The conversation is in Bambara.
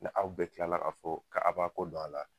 Ni aw bɛɛ kila k'a fɔ k'aw b'a kɔ don a la